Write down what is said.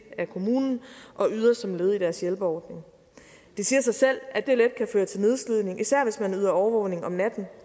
kommunen og yder som led i deres hjælpeordning det siger sig selv at det let kan føre til nedslidning især hvis man yder overvågning om natten